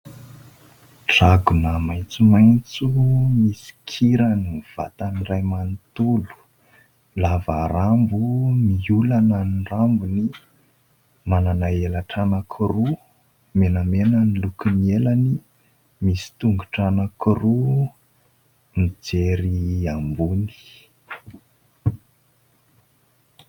Dragona maitsomaitso misy kirany ny vatany iray manontolo. Lava rambo, miolana ny rambony, manana elatra anankiroa, menamena ny lokon'ny elany. Misy tongotra anankiroa, mijery ambony.